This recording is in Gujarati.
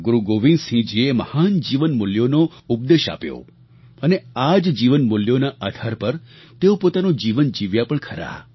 ગુરુ ગોવિંદસિંહજીએ મહાન જીવન મૂલ્યોનો ઉપદેશ આપ્યો અને આ જ જીવન મૂલ્યોના આધાર પર તેઓ પોતાનું જીવન જીવ્યા પણ ખરા